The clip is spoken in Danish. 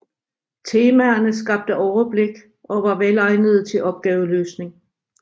Temaerne skabte overblik og var velegnede til opgaveløsning